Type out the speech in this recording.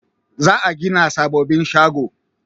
Za a gina sababbin shago